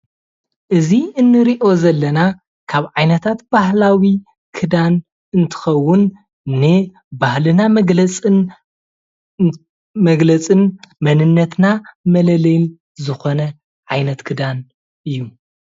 እዚ እንሪኦ ዘለና ካብ ዓይነታት ባህላዊ ክዳን እንትከዉን ንባህልና መግለፅን መንነትና መለለይን ዝኾነ ዓይነት ክዳን እዩ፡፡